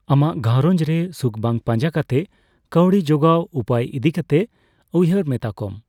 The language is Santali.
ᱟᱢᱟᱜ ᱜᱷᱟᱨᱚᱧᱡᱨᱮ ᱥᱩᱠ ᱵᱟᱝ ᱯᱟᱸᱡᱟ ᱠᱟᱛᱮ ᱠᱟᱹᱣᱰᱤ ᱡᱚᱜᱟᱣ ᱩᱯᱟᱹᱭ ᱤᱫᱤ ᱠᱟᱛᱮ ᱩᱭᱦᱟᱹᱨ ᱢᱮᱛᱟ ᱠᱚᱢ ᱾